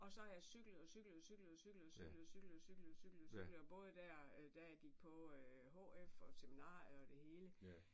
Og så har jeg cyklet og cyklet og cyklet og cyklet og cyklet og cyklet og cyklet og cyklet og cyklet og både der da jeg gik på HF og seminariet og det hele